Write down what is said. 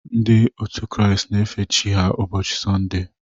Ndị otu Kraịst na-efe Chi ha ụbochị Sọnde.